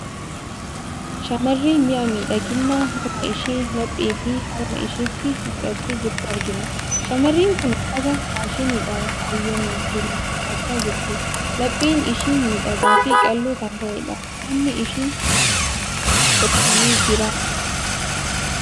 Shamarree mi'a miidhaginaa mormaa ishee, laphee fi harma isheetti godhattee jirtu argina. Shamarreen kun uffata faashiniidhaan faayamee jiru uffachaa jirti. Lapheen ishii miidhagaa fi qalloo kan taatedha. Fuulli ishii dhoksitee jirti.